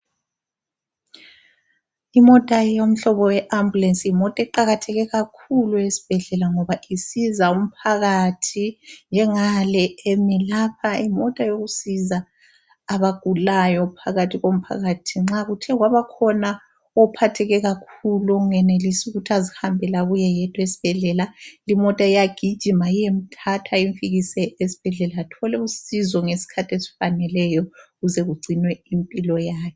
Imota yomhlobo we ambulance, yimota eqakatheke kakhulu esibhedlela, ngoba isiza umphakathi. Njengale emi lapha, yimota yokusiza abagulayo phakathi komphakathi. Nxa kuthe kwabakhona ophatheke kakhulu, ongenelisi ukuthi azihambele abuye yedwa esibhedlela, imota iyagijima iyemthatha imfikise esibhedlela athole usizo ngesikhathi esifaneleyo ukuze kugcinwe impilo yakhe.